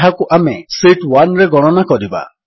ଯାହାକୁ ଆମେ ଶୀତ୍ 1ରେ ଗଣନା କରିବା